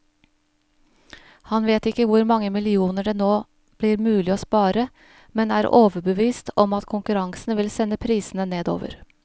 Han vet ikke hvor mange millioner det nå blir mulig å spare, men er overbevist om at konkurransen vil sende prisene nedover.